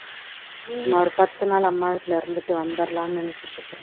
சும்மா ஒரு பத்து நாள் அம்மா வீட்டில இருந்துட்டு வந்துறலான்னு நினைச்சுட்டு இருக்கேன்